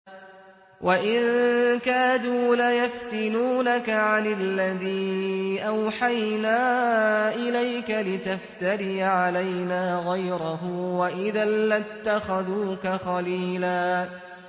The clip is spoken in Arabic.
وَإِن كَادُوا لَيَفْتِنُونَكَ عَنِ الَّذِي أَوْحَيْنَا إِلَيْكَ لِتَفْتَرِيَ عَلَيْنَا غَيْرَهُ ۖ وَإِذًا لَّاتَّخَذُوكَ خَلِيلًا